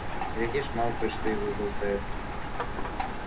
глядишь малфой что и выболтает